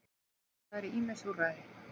Það eru ýmis úrræði.